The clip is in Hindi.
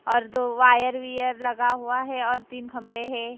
और दो वायर वीयर लगा हुआ है और तीन खंभे है।